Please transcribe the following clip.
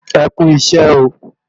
E Kú isẹ́ ooo